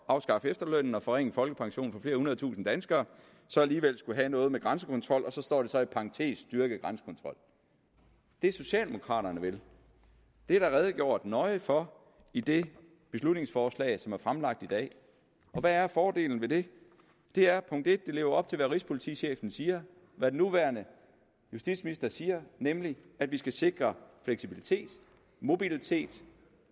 at afskaffe efterlønnen og forringe folkepensionen for flere hundrede tusinde danskere alligevel skullet have noget med grænsekontrol og så står der så i parentes styrket grænsekontrol det socialdemokraterne vil er der redegjort nøje for i det beslutningsforslag som er fremlagt i dag og hvad er fordelen ved det det er at det lever op til hvad rigspolitichefen siger hvad den nuværende justitsminister siger nemlig at vi skal sikre fleksibilitet mobilitet